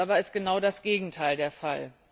Dabei ist genau das Gegenteil der Fall.